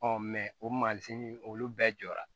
mɛ o masini olu bɛɛ jɔra